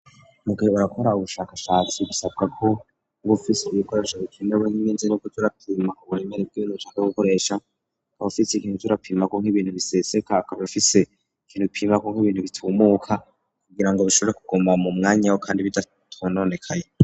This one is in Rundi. Mugihe bariko barakora ubushakashatsi bisabwa ko bufise ibikoresha ge kinewe n'iminzi nokocurapima uburemere bw'ibintu ushaka gukoresha akaba ufise ikintu kirapima ku nk'ibintu biseseka akaba ufise ikintu pima ku nk'ibintu bitumuka kugira ngo bishobore kugoma mu mwanya we kandi bidatunonekaye.